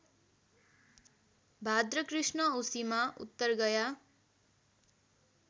भाद्रकृष्ण औँसीमा उत्तरगया